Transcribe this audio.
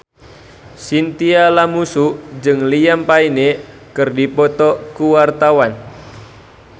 Chintya Lamusu jeung Liam Payne keur dipoto ku wartawan